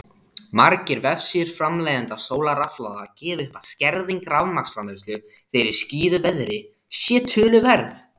Margir vefsíður framleiðenda sólarrafhlaða gefa upp að skerðing rafmagnsframleiðslu þegar í skýjuðu veðri sé töluverð.